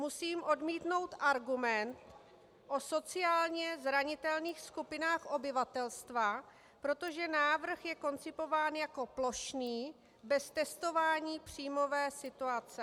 Musím odmítnout argument o sociálně zranitelných skupinách obyvatelstva, protože návrh je koncipován jako plošný, bez testování příjmové situace.